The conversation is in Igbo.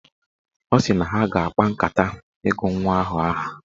Ọ sị na ha ga-akpa nkata ịgụ nwa ahụ aha.